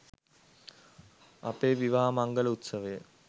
අපේ විවාහ මංගල උත්සවය